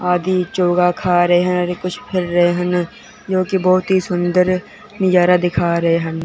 आदि चोखा खा रहे हैं अरे कुछ कर रहे हैं न क्योंकि बहुत ही सुंदर नजारा दिखा रहे--